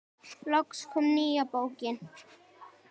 Loks kom nýja bókin.